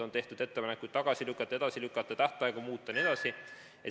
On tehtud ettepanekuid tagasi lükata, edasi lükata, tähtaegu muuta jne.